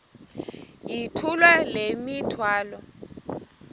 yithula le mithwalo